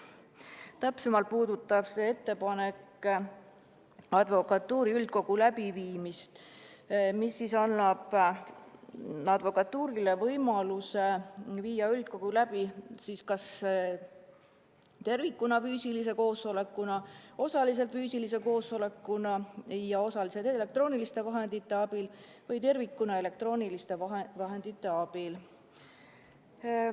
Täpsemalt käsitleb see advokatuuri üldkogu läbiviimist ja annab advokatuurile võimaluse viia üldkogu läbi kas tervikuna füüsilise koosolekuna, osaliselt füüsilise koosolekuna ja osaliselt elektrooniliste vahendite abil või tervikuna elektrooniliste vahendite abil.